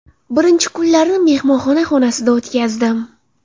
Birinchi kunlarni mehmonxona xonasida o‘tkazdim.